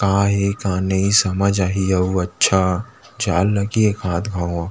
का हे का नहीं हे समझ आहि अउ अच्छा जाए ल लगही एकाक घव आऊ--